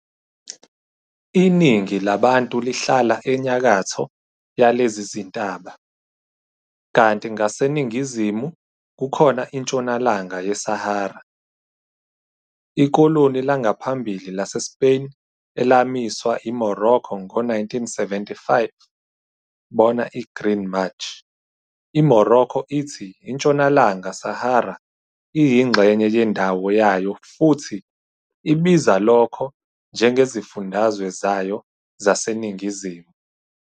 Iningi labantu lihlala enyakatho yalezi zintaba, kanti ngaseningizimu kukhona iNtshonalanga yeSahara, ikoloni langaphambili laseSpain elamiswa i-Morocco ngo-1975, bona i-Green March. IMorocco ithi iNtshonalanga Sahara iyingxenye yendawo yayo futhi ibiza lokho njengezifundazwe zayo zaseNingizimu.